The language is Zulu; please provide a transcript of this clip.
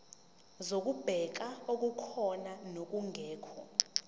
zokubheka okukhona nokungekho